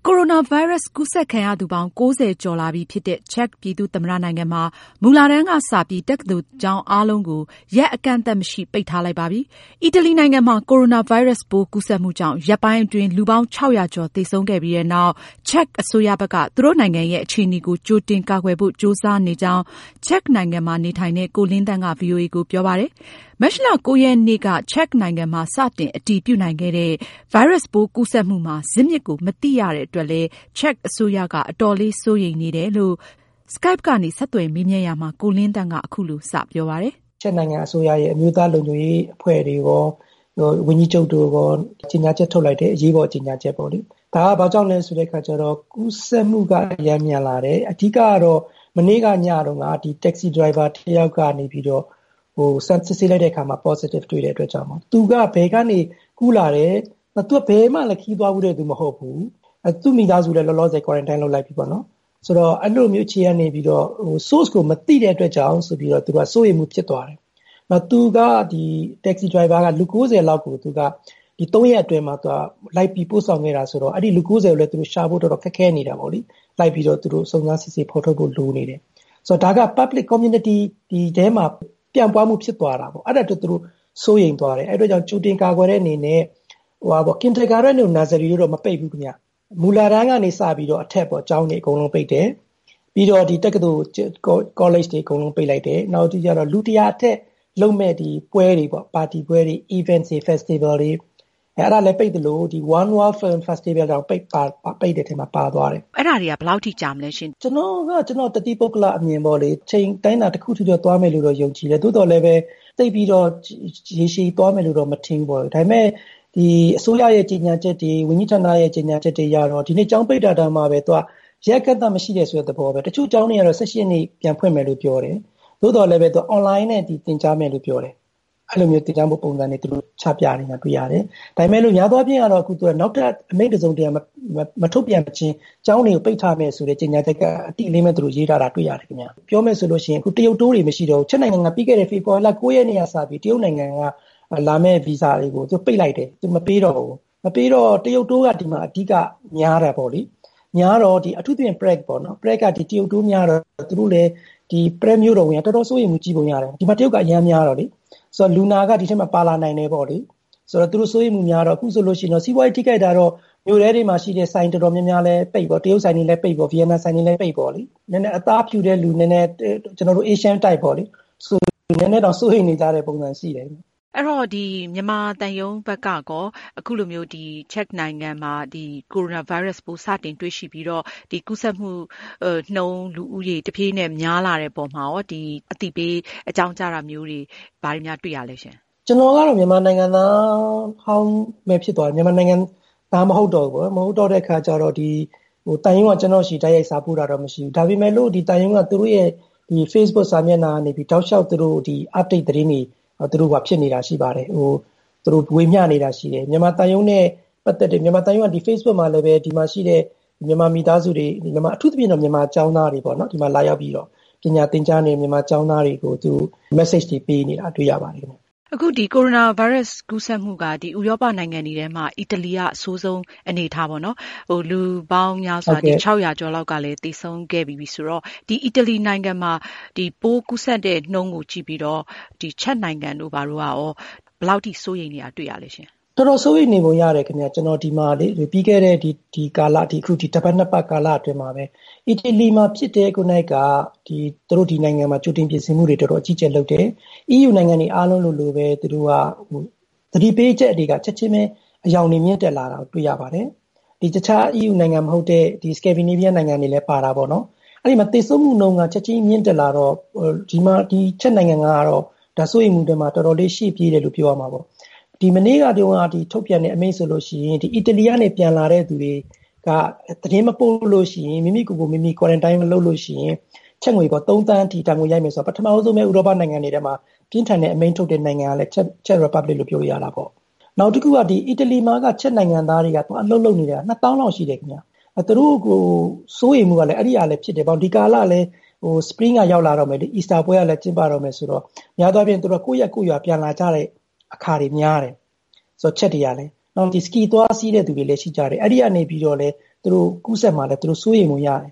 ိုရိုနာဗိုင်းရပ်စ် ကူးစက်ခံရသူပေါင်း ၉၀ ကျော်လာပြီဖြစ်တဲ့ ချက်ပြည်သူ့သမ္မတနိုင်ငံမှာ မူလတန်းကစပြီး တက္ကသိုလ်ကျောင်းအားလုံးကို ရက်အကန့်အသတ်မရှိ ပိတ်ထားလိုက်ပါပြီ။ အီတလီနိုင်ငံမှာ ကိုရိုနာဗိုင်းရပ်စ်ပိုး ကူးစက်မှုကြောင့် ရက်ပိုင်းအတွင်း လူပေါင်း ၆၀၀ ကျော်သေဆုံးခဲ့ြပီးနောက် ချက်အစိုးရဘက်က သူတို့နိုင်ငံရဲ့ အခြေအနေကို ကြိုတင်ကာကွယ်ဖို့ ကြိုးစားနေကြောင်း ချက်မှာနေထိုင်တဲ့ ကိုလင်းသန့်က ဗွီအိုအေကိုပြောပါတယ်။ မတ်လ ရက်နေ့က ချက်နိုင်ငံမှာ စတင်အတည်ပြုနိုင်ခဲ့တဲ့ ဗိုင်းရပ်စ်ပိုးကူးစက်မှုမှာ ဇစ်မြစ်ကို မသိရတဲ့အတွက် ချက်အစိုးရက အတော်လေးစိုးရိမ်နေတယ်လို့လည်း သူကဆိုပါတယ်။ မအင်ကြင်းနိုင်က Skype ကနေ ဆက်သွယ်မေးမြန်းရာမှာ ချက်အစိုးရရဲ့ သတိရှိရှိ ကြိုတင် ဆောင်ရွက်ပုံကို ကိုလင်းသန့်က အခုလိုစပြောပါတယ်။ ကိုလင်းသန့်။ ။ ချက်နိုင်ငံအစိုးရရဲ့ အမျိုးသားလုံခြုံရေးအဖွဲ့တွေရော ဝန်ကြီးချုပ်တွေရော အရေးပေါ် ကြေညာချက်ထုတ်လိုက်တယ်။ ဒါဟာ ဘာကြောင့်လဲဆိုရင် ကူးစက်မှု အရမ်းများလာတယ်။ အဓိကတော့ မနေ့ညတုန်းက Taxi driver တယောက်ကနေ စစ်ဆေးလိုက်တဲ့အခါမှာ Positive တွေ့တဲ့အတွက်ကြောင့် သူက ဘယ်ကနေ ကူးလာတယ်၊ သူက ဘယ်မှလည်း ခရီးသွားဘူးတဲ့။ သူမိသားစုလည်း လောလောဆယ် quarantine လုပ်လိုက်ပြီပေါ့နော်။ ဆိုတော့ အဲဒီလိုမျိုး အခြေအနေကနေ Source ကို မသိတဲ့အတွက်ကြောင့်ဆိုပြီးတော့ စိုးရိမ်မှု ဖြစ်သွားတယ်။ Taxi driver က လူ ၉၀ လောက်ကို သူက ၃ ရက်အတွင်းမှာ လိုက်ပြီး ပို့ဆောင်ခဲ့တာဆိုတော့ အဲဒီ လူ ၉၀ ကိုလည်း ရှာဖို့ ခက်နေတာပေါ့လေ။ လိုက်ပြီးတော့ သူတို့ စုံစမ်းစစ်ဆေးဖော်ထုတ်ဖို့ လိုနေတယ်။ ဆိုတော့ ဒါက public community တွေထဲမှာ ပြန့်ပွားမှု ဖြစ်သွားတာပေါ့။ အဲဒါကြောင့်မို့လို့ သူတို့ စိုးရိမ်သွားတယ် အဲဒီအတွက် သူတို့ ကြိုတင်ကာကွယ်တဲ့အနေနဲ့ Kindergarten တို့ Nursery တို့ကတော့ မပိတ်ဘူးပေါ့နော်။ မူလတန်းကနေအထက် ကျောင်းတွေအကုန်လုံးကို ပိတ်တယ်။ ပြီးတော့ တက္ကသိုလ် ကောလိပ်တွေ အကုန်လုံးပိတ်တယ်။ နောက်ပြီးတော့ လူ ၁၀၀ အထက် လုပ်မယ့် ပွဲတွေ၊ Events တွေ Festival တွေ ပိတ်သလို film festival တွေလည်း ပိတ်တဲ့အထဲ ပါသွားတယ်။ မအင်ကြင်းနိုင်။ ။အဲဒါတွေက ဘယ်လောက်အထိ ကြာမလဲရှင့်။ ကိုလင်းသန့်။ ။ ကျနော့်အမြင်ကတော့ အချိန်အတိုင်းအတာတခုအထိတော့သွားမယ်လို့ ယုံကြည်တယ် သို့သော်လည်း သိပ်ပြီးတော့ ရေရှည်သွားမယ်လို့တော့ မထင်ဘူးပေါ့။ ဒါပေမယ့် အစိုးရရဲ့ ကြေညာချက်တွေ ဝန်ကြီးဌာနရဲ့ ကြေညာချက်တွေအရတော့ ဒီနေ့ ကျောင်းပိတ်တာတောင်မှပဲ ရက်အကန့်အသတ်မရှိ ဆိုတဲ့သဘောပဲ။ တချို့ကျောင်းတွေကတော့ ၁၈ ရက်နေ့ ပြန်ဖွင့်မယ်လို့ ပြောတယ် သို့သော်လည်း Online နဲ့ သင်ကြားမယ်လို့ ပြောတယ်။ အဲလိုမျိုး သင်ကြားမှု ပုံစံမျိုး ချပြနေတာ ကျနော်တို့ တွေ့ရတယ်။ ဒါပေမယ့်လို့ များသောအားဖြင့်ကတော့ နောက်ထပ် အမိန့် တစုံတရာ မထုတ်ပြန်မချင်း ကျောင်းတွေကို ပိတ်ထားမယ်ဆိုတဲ့ ကြေညာချက် ကတော့ အတိအလင်းပဲ သူတို့ ရေးထားတာ တွေ့ရတယ်။ ပြောရမယ်ဆိုရင် အခု တရုတ် Tour တွေ မရှိတော့ဘူး ချက်နိုင်ငံမှာ ပြီးခဲ့တဲ့ ဖေဖော်ဝါရီ ၉ ရက်နေ့က စပြီး တရုတ်က လာမယ့် Visa တွေကို ပိတ်လိုက်တယ်။ သူမပေးတော့ဘူး မပေးတော့ တရုတ် Tour က အဓိက ဒီမှာ များတာပေါ့လေ။ အထူးသဖြင့် Prague က တရုတ် Tour တွေများတော့ Prague မြို့တော်ဝန်က တော်တော် စိုးရိမ်မှု ကြီးပုံရတယ်။ ဒီမှာ တရုတ်က အရမ်းများတော့လေ။ ဆိုတော့ လူနာက ဒီအထဲမှာ ပါလာ နိုင်တယ်ပေါ့လေ။ ဆိုတော့ သူတို့ စိုးရိမ်မှုများတော့ အခုဆိုရင် စီးပွားရေးထိခိုက်တာတော့ မြို့ထဲတွေမှာ ရှိတဲ့ ဆိုင်တွေ တော်တော်များများလည်း ပိတ်ပေါ့။ တရုတ်ဆိုင်တွေလည်း ပိတ်ပေါ့ ဗီယက်နမ် ဆိုင်တွေလည်း ပိတ်ပေါ့။ နည်းနည်း အသားဖြူတဲ့ ကျနော်တို့ Asian type တွေကတော့ စိုးရိမ်နေတဲ့ ပုံစံရှိတယ်။ မအင်ကြင်းနိုင်။ ။ မြန်မာသံရုံးဘက်ကရော အခုလိုမျိုး ချက်နိုင်ငံမှာ ကရိုနာဗိုင်းရပ်စ် စတင် တွေ့ရှိပြီးတော့ ကူးစက်မှုနှုန်း တဖြေးဖြေး များလာတဲ့ အပေါ်မှာ အသိပေး အကြောင်းကြားတာမျိုးတွေ ဘာတွေများ တွေ့ရသလဲ။ ကိုလင်းသန့်။ ။ ကျနော်ကတော့ မြန်မာနိုင်ငံသားဟောင်းပဲ ဖြစ်သွားပြီ မြန်မာနိုင်ငံသား မဟုတ်တော့ဘူးပေါ့နော်။ မဟုတ်တော့တဲ့အခါကျတော့ သံရုံးက ကျနော့်ဆီကို တိုက်ရိုက် စာပို့တာတော့ မရှိတော့ဘူး။ ဒါပေမယ့်လို့ သံရုံး Facebook ကနေ တောက်လျှောက် သူတို့ update သတင်းတွေ ဝေမျှနေတာတွေ ရှိပါတယ်။ မြန်မာသံရုံး Facebook မှာလည်း ဒီမှာရှိတဲ့ မြန်မာ မိသားစုတွေ အထူးသဖြင့် ဒီမှာလာရောက်ပြီး ပညာသင်ကြားနေတဲ့မြန်မာကျောင်းသားတွေ ကို ပေါ့လေ သူတို့ Message တွေပေးနေတာကို တွေ့ရပါတယ်။ မအင်ကြင်းနိုင်။ ။ အခုဒီ Coronavirus ကူးစက်မှုက ဒီ ဥရောပနိုင်ငံတွေမှာ အီတလီက အဆိုးဆုံး အနေအထားပေါ့နော် ။ လူပေါင်း ၆၀၀ ကျော်ကလည်း သေဆုံးခဲ့ပြီးပြီဆိုတော့ ဒီအီတလီနိုင်ငံမှာ ပိုးကူးစက်တဲ့ နှုန်းကို ကြည့်ပြီးတော့ ချက်နိုင်ငံတို့ရော ဘယ်လောက်အထိ စိုးရိမ်နေသလဲ။ ကိုလင်းသန့်။ ။ တော်တော်စိုးရိမ်နေပုံရတယ်။ ကျနော်ပြီးခဲ့တဲ့ ဒီ တပတ် ၂ ပတ် ကာလအတွင်းမှာ အီတလီမှာဖြစ်တာကို သူတို့ ဒီနိုင်ငံမှာ ကြိုတင်ပြင်ဆင်မှုတွေလုပ်တယ်။ အီးယူနိုင်ငံတွေ အားလုံးလိုလိုပဲ သူတို့က သတိပေးချက်တွေ ချက်ချင်းပဲ အရောင်တွေ မြင့်တက်လာတာကို တွေ့ရတယ်။ တခြား EU နိုင်ငံမဟုတ်တဲ့ Scandinavia နိုင်ငံတွေလည်း ပါတာပေါ့နော်။ အဲဒီမှာ သေဆုံးမှု နှုန်းက ချက်ချင်းမြင့်တက်လာတော့ ဒီ ချက်နိုင်ငံကတော့ စိုးရိမ်မှုအတွင်းမှာ တော်တော်လေး ရှေ့ပြေးတယ်လို့ ပြောရမှာပေါ့။ မနေ့ကတုန်းက ထုတ်ပြန်တဲ့ အမိန့်ဆိုရင် အီတလီ ကနေ ပြန်လာတဲ့သူတွေက သတင်းမပို့ရင် မိမိကိုယ်ကိုမိမိ quarantine မလုပ်ရင် ချက်ငွေ ၃ သန်းအထိ ဒဏ်ငွေရိုက်မယ်ဆိုတာ ပထမဦးဆုံးပဲ ဥရောပနိုင်ငံတွေထဲမှာ ပြင်းထန်တဲ့ အမိန့်ထုတ်တဲ့ နိုင်ငံက Czech Republic လို့ ပြောလို့ရတယ်။ နောက်တခုက အီတလီမှာက ချက်နိုင်ငံသားတွေ သွားအလုပ်လုပ်နေတာ ၂ သောင်းလောက်ရှိတယ်။ သူတို့ကို စိုးရိမ်မှုကလည်း အဲဒီကဖြစ်တယ် ဒီကာလကလည်း Spring လည်းရောက်လာတော့မယ်လေ။ အီစတာပွဲကလည်း ကျင်းပတော့မယ်ဆိုတော့ များသောအားဖြင့် ကိုယ့်ရပ် ကိုယ့်ရွာပြန်လာကြတာတွေများတယ် ချက်တွေကလည်း ။ နောက်ပြီးတော့ Ski သွားစီးတဲ့သူတွေလည်းရှိကြတယ် အဲဒီကနေလည်း သူတို့ ကူးစက်မှာလည်း သူတို့ စိုးရိမ်ပုံရတယ်